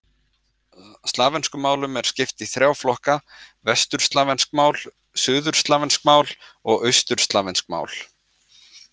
Slavneskum málum er skipt í þrjá flokka: vesturslavnesk mál, suðurslavnesk mál og austurslavnesk mál.